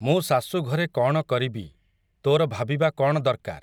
ମୁଁ ଶାଶୂ ଘରେ କ'ଣ କରିବି, ତୋର ଭାବିବା କ'ଣ ଦରକାର୍ ।